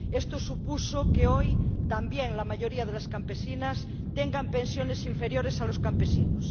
Esto supuso que hoy también la mayoría de las campesinas tengan pensiones inferiores a los campesinos.